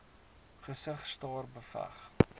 gesig staar beveg